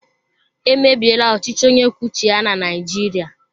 Emebiela ọchịchị onye kwuo uche ya na Naijiria.